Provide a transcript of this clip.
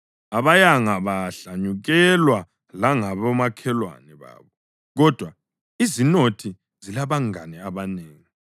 Abayanga bahlanyukelwa langabomakhelwane babo, kodwa izinothi zilabangane abanengi.